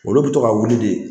Olu bɛ to ka wuli de